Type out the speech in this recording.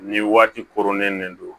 Ni waati koronnen de don